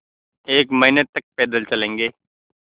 एक महीने तक पैदल चलेंगे